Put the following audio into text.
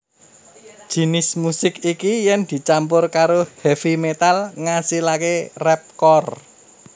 Jinis musik iki yèn dicampur karo heavy metal ngasilaké rapcore